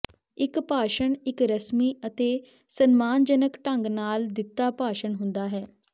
ਇੱਕ ਭਾਸ਼ਣ ਇੱਕ ਰਸਮੀ ਅਤੇ ਸਨਮਾਨਜਨਕ ਢੰਗ ਨਾਲ ਦਿੱਤਾ ਭਾਸ਼ਣ ਹੁੰਦਾ ਹੈ